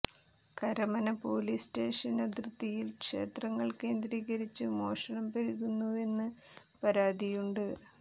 Karamana police station അതിർത്തിയിൽ ക്ഷേത്രങ്ങൾ കേന്ദ്രീകരിച്ച് മോഷണം പെരുകുന്നുവെന്ന് പരാതിയുണ്ട്